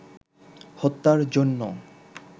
হত্যার জন্য